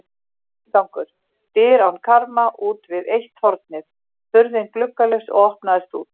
Inngangur: dyr án karma útvið eitt hornið, hurðin gluggalaus og opnaðist út.